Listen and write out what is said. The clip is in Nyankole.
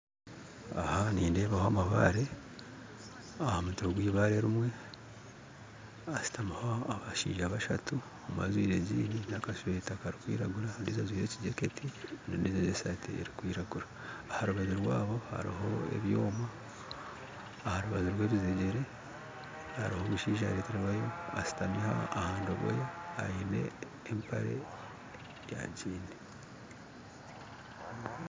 Aha nindebaho amabare ahamutwe gweibare erimwe hashutamiho abashaija bashatu omwe ajwaire jean n'akashweta karikwiragura ondiijo ajwaire ejaketi ondiijo ajwaire esaati erikwiragura aha rubaju rwabo hariho ebyoma aha rubaju rw'ebizejere hariho omushaija yareterwayo ashutami aha ndogoya aine empare ya giini